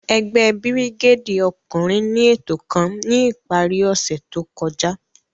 Ẹgbẹ birigédi ọkunrin ni eto kan ni ipari ose to kọja.